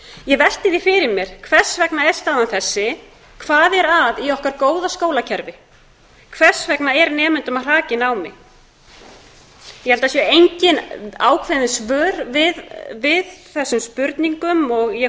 ég velti því fyrir mér hvers vegna er staðan þessi hvað er að í okkar góða skólakerfi hver segja er nemenda að hraka í námi ég held að séu engin ákveðin svör við þessum spurningum og ég